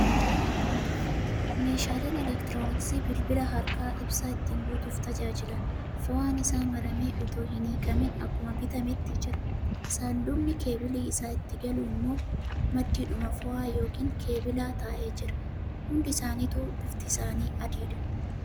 Meeshaalee elektirooniksii bilbila harkaa ibsaa ittiin guutuuf tajaajilan. Foo'aan isaa maramee otoo hin hiikamin akkuma bitametti jira. Sanduuqni keebilli isaa itti galu immoo maddiidhuma foo'aa yookan keebilaa taa'ee jira. Hundi isaanituu bifti isaanii adiidha.